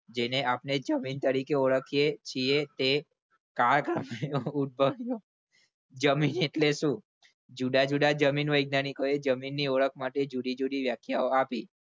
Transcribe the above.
જેને આપણે જમીન તરીકે ઓળખીએ છીએ તે કાળક્રમે ઉદભવ્યો જમીન એટલે શું જુદા જુદા જમીન વૈજ્ઞાનિકોએ ની ઓળખ માટે જુદી જુદી વ્યાખ્યા આપી.